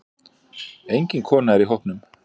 Engin kona er í hópnum.